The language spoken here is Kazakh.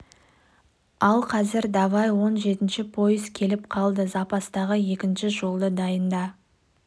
ал қазір давай он жетінші пойыз келіп қалды запастағы екінші жолды дайында